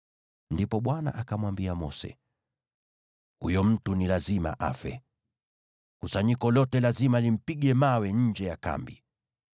Ndipo Bwana akamwambia Mose, “Huyo mtu ni lazima afe. Kusanyiko lote lazima limpige mawe nje ya kambi.”